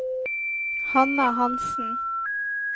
Hanna Hansen